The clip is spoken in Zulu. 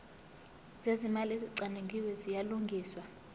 zezimali ezicwaningiwe ziyalungiswa